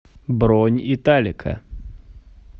бронь италика